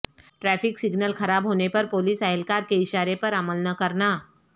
traffic signal خراب ہونے پر پولیس اہلکار کے اشارے پر عمل نہ کرنا